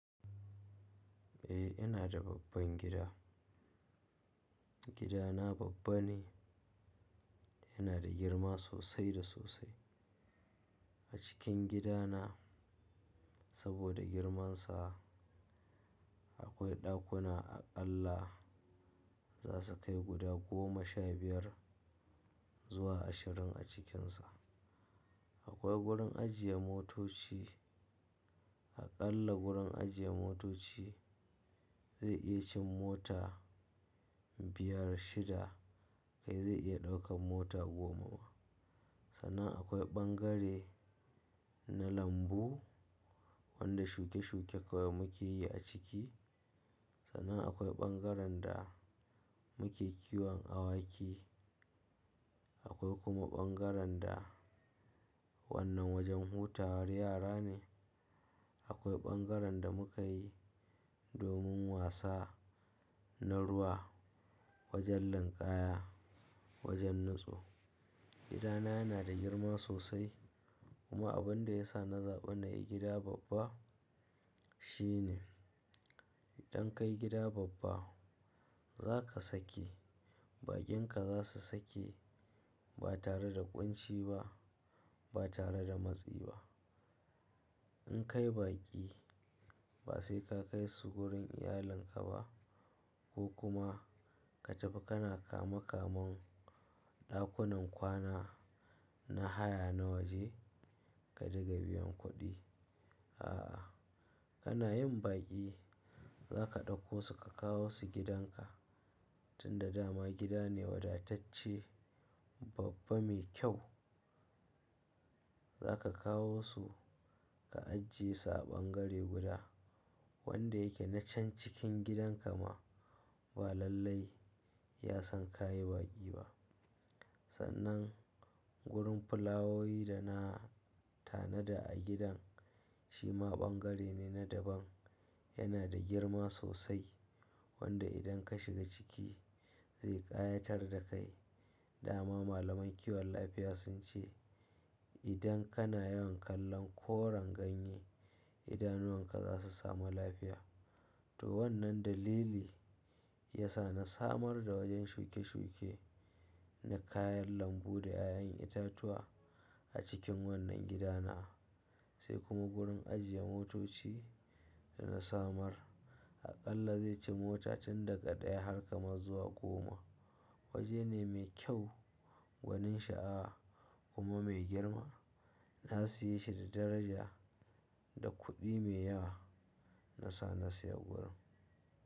Eh, ina da babban gida. Gidana babba ne, yana da girma sosai da sosai. A cikin gidana saboda girmansa akwai ɗakuna aƙalla za su kai guda goma sha biyar zuwa ashirin a cikinsa. Akwai gurin ajiye motoci. Aƙalla gurin ajiye motoci zai iya cin mota biyar, shida. Kai zai iya ɗaukan mota goma ma. Sannan akwai ɓangare na lambu wanda shuke-shuke kawai muke yi a ciki. Sannan akwai ɓangaren da muke kiwon awaki. Akwai kuma ɓangaren da wannan wajen hutawar yara ne. Akwai ɓangaren da muka yi domin wasa na ruwa, wajen linƙaya, wajen nutso. Gidana yana da girma sosai kuma abin da ya sa na zaɓi na yi gida babba shine idan ka yi gida babba za ka sake, baƙinka za su sake ba tare da ƙunci ba, ba tare da matsi ba. In ka yi baƙi ba sai ka kai su wurin iyalin ƙa ba. Ko kuma ka tafi kana kama-kaman ɗakunan kwana na haya na waje ka diga biyan kuɗi. A'a, kana yin baƙi za ka ɗauko su ka kawo su gidanka. Tun da dama gida ne wadatacce babba mai kyau. Za ka kawo su ka ajiye su a ɓangare guda wanda yake na can cikin gidanka ma ba lallai ya san ka yi baƙi ba. Sannan gurin fulawowi da na tanada a gidan shi ma ɓangare ne na daban. Yana da girma sosai wanda idan ka shiga ciki zai ƙayatar da kai. Dama malamai kiwon lafiya sun ce idan kana yawan kallon koren ganye idanuwan ka za su samu lafiya. To wannan dalili ya sa na samar da wajen shuke-shuke na kayan lambu da 'ya'yan itatuwa a cikin wannan gidana. Sai kuma gurin ajiye motoci da na samar. Aƙalla zai ci mota tun daga ɗaya har kamar zuwa goma. Waje ne mai kyau, gwanin sha'awa kuma mai girma. Na siye shi da daraja, da kuɗi mai yawa na sa na saya wurin.